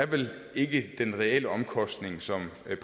vel ikke den reelle omkostning som